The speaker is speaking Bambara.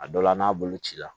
A dɔ la n'a bolo cira